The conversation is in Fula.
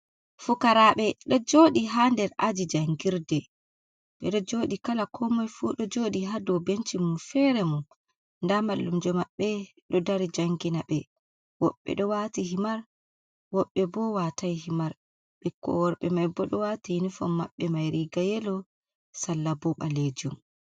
Fokaraɓe ɗo jodi ha nder aji jangirde e ɗo joɗi, kala ko moi fu ɗo joɗi ha dow benci mumfere mum, nda mallumjo maɓɓe ɗo dari jangina ɓe, woɓɓe ɗo wati himar woɓɓe bo watai himar ɓikkoi worɓe mai bo ɗo wati inifon maɓɓe mai riga yelo sallabo ɓalejum.